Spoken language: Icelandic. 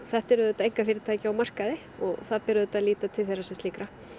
þetta eru auðvitað einkafyrirtæki á markaði og það ber auðvitað að líta til þeirra sem slíkra